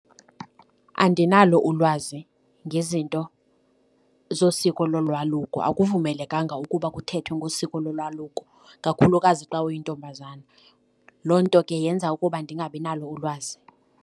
Andinalo ulwazi ngezinto zosiko lolwaluko. Akuvumelekanga ukuba kuthethwe ngosiko lolwaluko kakhulukazi xa uyintombazana. Loo nto ke yenza ukuba ndingabinalo ulwazi.